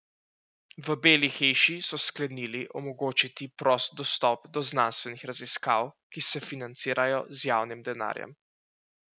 V Beli hiši so sklenili omogočiti prost dostop do znanstvenih raziskav, ki se financirajo z javnim denarjem.